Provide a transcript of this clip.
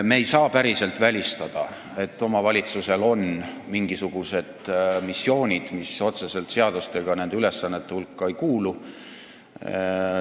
Me ei saa päriselt välistada, et omavalitsusel on mingisugused missioonid, mis otseselt seadustega nende ülesannete hulka ei kuulu.